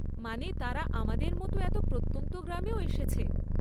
মানে, তারা আমাদের মতো এত প্রত্যন্ত গ্রামেও এসেছে।